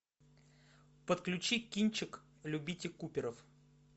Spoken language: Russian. подключи кинчик любите куперов